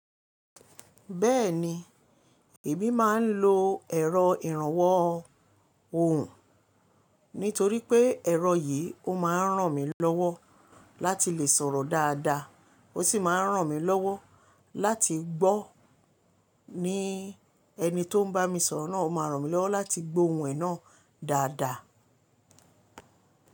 Bẹ́ẹ̀ni, èmi máa ń lo ẹ̀rọ ìrànwọ́ ohùn nítorí pé ẹ̀rọ yìí ó máa ń ràn mí lọ́wọ́ láti lè sọ̀rọ̀ dáadáa, ó sì máa ń ràn mí lọ́wọ́ láti gbọ́ ní ẹni tó ń bá mi sọ̀rọ̀ náà ó máa ń ràn mí lọ́wọ́ láti gbo ohùn ẹ náà dáadáa.